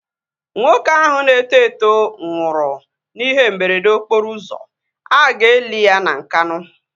Nwoke ahụ na-eto eto nwụrụ na ihe mberede okporo ụzọ, aga eli ya na Nkanu